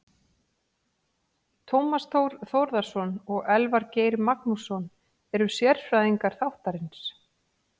Tómas Þór Þórðarson og Elvar Geir Magnússon eru sérfræðingar þáttarins.